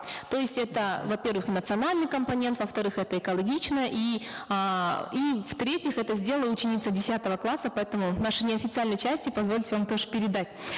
то есть это во первых национальный компонент во вторых это экологично и эээ и в третьих это сделала ученица десятого класса поэтому в нашей неофициальной части позвольте вам тоже передать